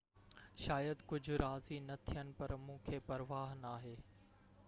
شايد ڪجهہ راضي نہ ٿين پر مونکي پرواه ناهي